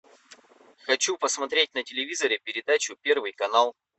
хочу посмотреть на телевизоре передачу первый канал